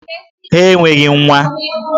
Ha enweghị nwa!